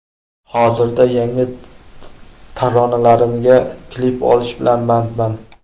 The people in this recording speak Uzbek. Hozirda yangi taronalarimga klip olish bilan bandman.